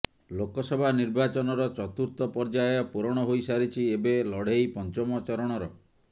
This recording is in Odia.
ଲୋକସଭା ନିର୍ବାଚନର ଚତୁର୍ଥ ପର୍ଯ୍ୟାୟ ପୁରଣ ହୋଇସାରିଛି ଏବେ ଲଢେଇ ପଞ୍ଚମ ଚରଣର